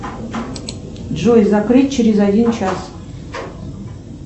джой закрыть через один час